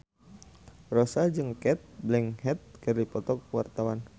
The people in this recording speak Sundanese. Rossa jeung Cate Blanchett keur dipoto ku wartawan